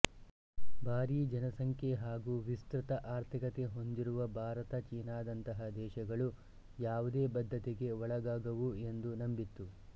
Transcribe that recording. ಭಾರೀ ಜನಸಂಖ್ಯೆ ಹಾಗೂ ವಿಸ್ತೃತ ಆರ್ಥಿಕತೆ ಹೊಂದಿರುವ ಭಾರತ ಚೀನಾದಂತಹ ದೇಶಗಳು ಯಾವುದೇ ಬದ್ಧತೆಗೆ ಒಳಗಾಗವು ಎಂದೂ ನಂಬಿತ್ತು